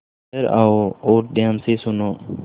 इधर आओ और ध्यान से सुनो